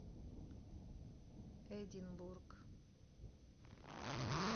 эдинбург